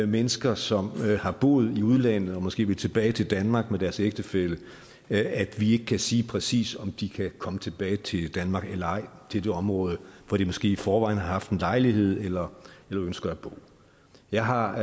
mennesker som har boet i udlandet og måske vil tilbage til danmark med deres ægtefælle at vi ikke kan sige præcist om de kan komme tilbage til danmark eller ej til det område hvor de måske i forvejen har haft en lejlighed eller ønsker at bo jeg har